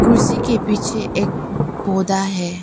कुर्सी के पीछे एक पौधा है।